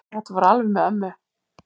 Þetta fór alveg með ömmu.